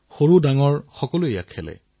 প্ৰায় ৭ হাজাৰে অংশগ্ৰহণ কৰিছিল